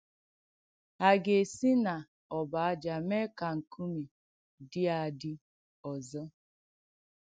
Hà ga-esì n’òbọ̀ ájà mèè ka ǹkùmè dị́ àdì òzọ̀?”